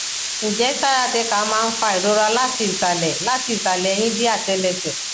nje sciatica ma n fa irora lati isale lati isale ehin de atelese